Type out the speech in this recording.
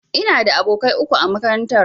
Ina da abokai uku a makarantar.